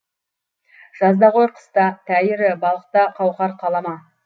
жазда ғой қыста тәйірі балықта қауқар қала ма